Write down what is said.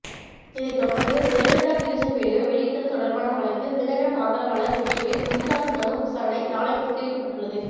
இதைதொடர்ந்து ஜெயலலிதா சிகிச்சை வீடியோ வெளியிட்டது தொடர்பான வழக்கில் தினகரன் ஆதரவாளர் வெற்றிவேல் முன்ஜாமீன் மனு விசாரணை நாளை ஒத்திவைக்கப்பட்டுள்ளது